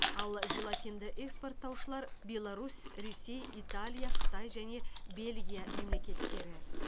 ал желатинді экспорттаушылар беларусь ресей италия қытай және бельгия мемлекеттері